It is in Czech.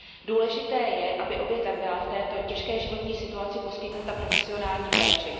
Důležité je, aby obětem byla v této těžké životní situaci poskytnuta profesionální péče.